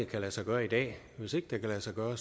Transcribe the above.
kan lade sig gøre i dag hvis ikke det kan lade sig gøre